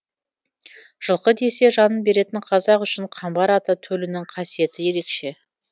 жылқы десе жанын беретін қазақ үшін қамбар ата төлінің қасиеті ерекше